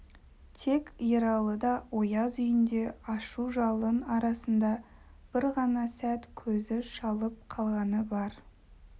тек ералыда ояз үйінде ашу жалын арасында бір ғана сәт көзі шалып қалғаны бар